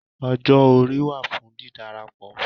Ọjọ́ orí wà fún ùn dídárapọ̀.